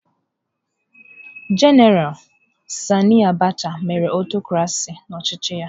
Jenara Sani Abacha mere aụtọcrasị n'ọchịchị ya.